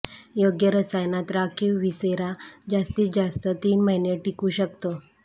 योग्य रसायनात राखीव व्हिसेरा जास्तीत जास्त तीन महिने टिकू शकतो